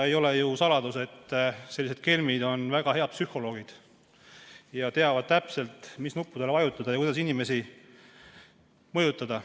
Ei ole ju saladus, et sellised kelmid on väga head psühholoogid ja teavad täpselt, mis nuppudele vajutada ja kuidas inimesi mõjutada.